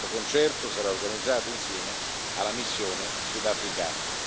Questo concerto sarà organizzato insieme alla missione sudafricana.